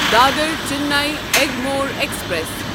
Dadar Chennai Egmore express